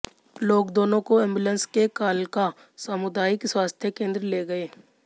लोग दोनों को एंबुलेंस से कालका सामुदायिक स्वास्थ्य केंद्र ले गए